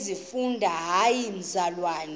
umfundisi hayi mzalwana